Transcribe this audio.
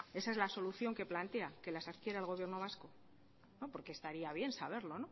esa es la solución que plantea que las adquiera el gobierno vasco no porque estaría bien saberlo